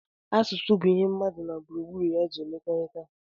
Asụsụ bụ ihe mmadụ na gburugburu ya ji emekọrịta